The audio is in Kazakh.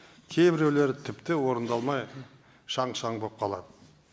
кейбіреулері тіпті орындалмай шаң шаң болып қалады